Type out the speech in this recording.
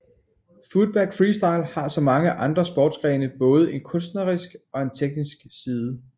Footbag freestyle har som mange andre sportsgrene både en kunstnerisk og teknisk side